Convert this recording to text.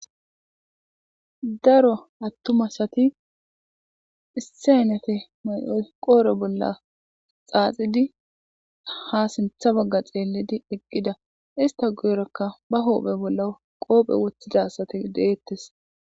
daro attumasati issenete may7oy qoore bolla xaaxidi ha sintha bagga xeellidi eqqida ista goyrakka ba hoophe bolla qoophe woththida asati deettes